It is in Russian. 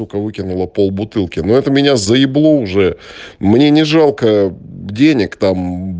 только выкинула пол бутылки но это меня заибло уже мне не жалко денег там